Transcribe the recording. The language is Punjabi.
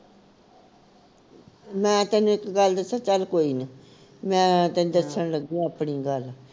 ਮੈਂ ਤੈਨੂੰ ਇਕ ਗੱਲ ਦੱਸਾ ਚੱਲ ਕੋਈ ਨੀ ਮੈਂ ਤੈਨੂੰ ਦੱਸਣ ਲੱਗੀ ਆਪਣੀ ਗੱਲ